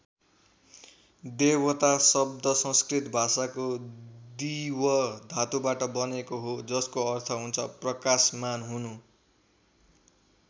देवता शब्द संस्कृत भाषाको दिव् धातुबाट बनेको हो जसको अर्थ हुन्छ प्रकाशमान हुनु।